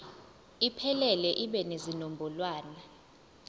iphelele ibe nezinombolwana